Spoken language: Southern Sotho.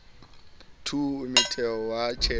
two umthetho wa se tjele